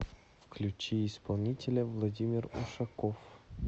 включи исполнителя владимир ушаков